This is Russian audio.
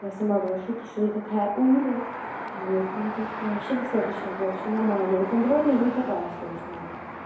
я сама была в шоке что я такая умная вот мне кажется вообще достаточно было всё нормально контрольная не такая сложная